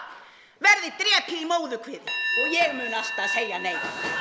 verði drepið í móðurkviði og ég mun alltaf segja nei